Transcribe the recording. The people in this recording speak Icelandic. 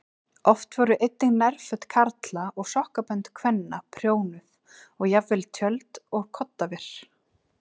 Oft voru einnig nærföt karla og sokkabönd kvenna prjónuð og jafnvel tjöld og koddaver.